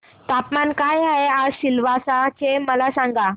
तापमान काय आहे आज सिलवासा चे मला सांगा